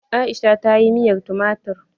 Aisha tayi miyar tumatir.